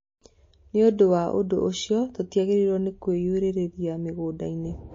Nĩ ũndũ ũcio, tũtiagĩrĩirũo nĩ kũiyũrĩrĩria mĩgũnda-inĩ.